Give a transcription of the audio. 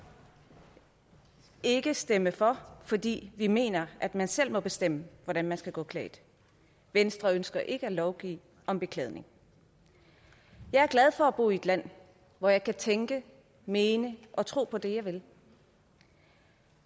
ikke stemme for fordi vi mener at man selv må bestemme hvordan man skal gå klædt venstre ønsker ikke at lovgive om beklædning jeg er glad for at bo i et land hvor jeg kan tænke mene og tro det jeg vil